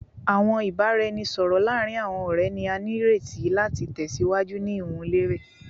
Awọn ibaraẹnisọrọ laarin awọn ọrẹ ni a nireti lati tẹsiwaju ni iwunlere